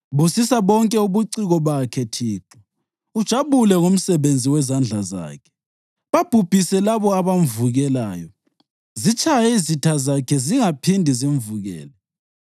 Busisa bonke ubuciko bakhe, Thixo, ujabule ngomsebenzi wezandla zakhe. Babhubhise labo abamvukelayo; zitshaye izitha zakhe zingaphindi zimvukele.”